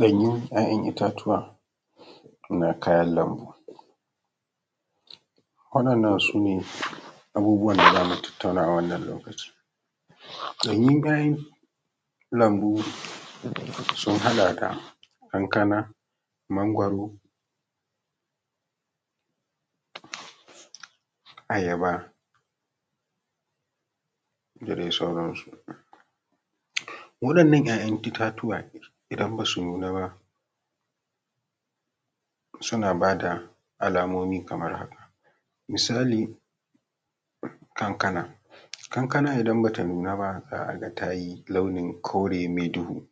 Ɗanyun ‘ya’yan itatuwa na kayan lambu, waɗannan sune abubuwan da zamu tattauna a wannan lokaci. Ɗanyun kayan lambu sun haɗa da kankana, mangwaro, ayaba da dai sauran su. waɗannan ‘ya’yan itatuwa, idan basu nuna ba, suna bada alamomi kamar haka, misali kankana, kankana idan bata nun aba za a ga tayi launin kore mai duhu,